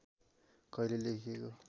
कहिले लेखिएको